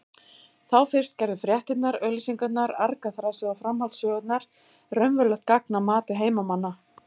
Þá fyrst gerðu fréttirnar, auglýsingarnar, argaþrasið og framhaldssögurnar raunverulegt gagn að mati heimamanna.